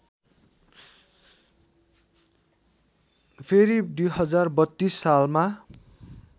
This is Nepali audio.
फेरि २०३२ सालमा